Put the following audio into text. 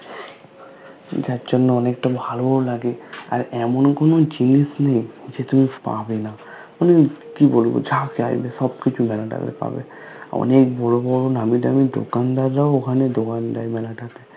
যার জন্য অনেক টা ভালো ও লাগে আর এমন কোনো জিনিস নেই যে তুমি পাবে না পুরো আর কি বলবো যা চাইবে সব কিছু ওখান টা তে পাবে অনেক বড়ো বড়ো নামি দামি দোকানদাররাও ওখানে দোকান দেয় মেলা টা তে